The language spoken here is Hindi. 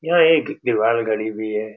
यह एक दीवार घड़ी भी है।